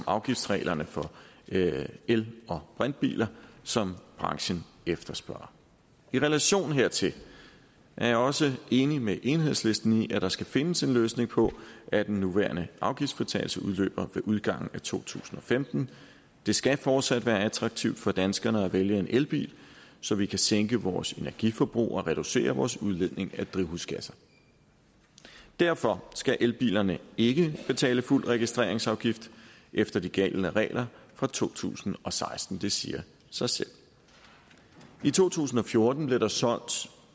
afgiftsreglerne for el og brintbiler som branchen efterspørger i relation hertil er jeg også enig med enhedslisten i at der skal findes en løsning på at den nuværende afgiftsfritagelse udløber ved udgangen af to tusind og femten det skal fortsat være attraktivt for danskerne at vælge en elbil så vi kan sænke vores energiforbrug og reducere vores udledning af drivhusgasser derfor skal elbilerne ikke betale fuld registreringsafgift efter de gældende regler fra to tusind og seksten det siger sig selv i to tusind og fjorten blev der solgt